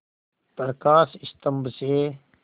प्रकाश स्तंभ से